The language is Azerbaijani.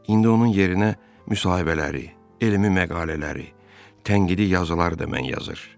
İndi onun yerinə müsahibələri, elmi məqalələri, tənqidi yazıları da mən yazır.